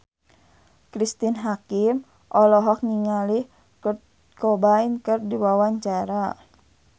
Cristine Hakim olohok ningali Kurt Cobain keur diwawancara